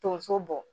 Tonso bɔ